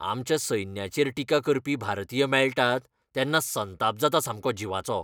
आमच्या सैन्याचेर टिका करपी भारतीय मेळटात तेन्ना संताप जाता सामको जिवाचो.